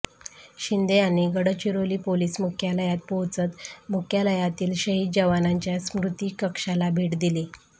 शिंदे यांनी गडचिरोली पोलिस मुख्यालयात पोहोचत मुख्यालयातील शहीद जवानांच्या स्मृति कक्षाला भेट दिली